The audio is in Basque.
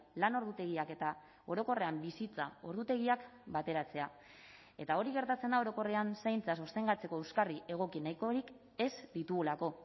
lan ordutegiak eta orokorrean bizitza ordutegiak bateratzea eta hori gertatzen da orokorrean zaintza sostengatzeko euskarri egoki nahikorik ez ditugulako